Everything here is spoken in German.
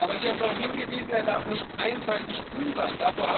Aber Sie haben darauf hingewiesen er darf nicht einseitig grün sein.